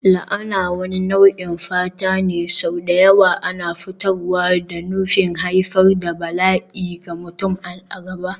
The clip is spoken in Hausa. La'ana wani nau'in fata ne, sau da yawa ana furtawa da nufin haifar da bala'i ga mutum a gaba.